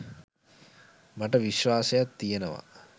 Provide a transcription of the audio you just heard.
මට විශ්වාසයක් තියෙනවා